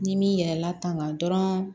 Ni m'i yɛlɛla tangan dɔrɔn